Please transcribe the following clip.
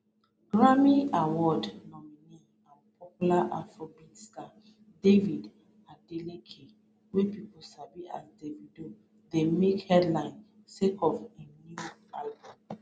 grammy award nominee and popular afrobeats star david adeleke wey pipo sabi as davido dey make headlines sake of im new album